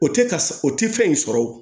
O tɛ ka o tɛ fɛn in sɔrɔ o